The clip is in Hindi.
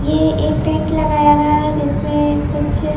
ये एक टेंट लगाया गया है जिसमें कुछ--